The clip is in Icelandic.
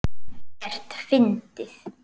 Ekkert fyndið!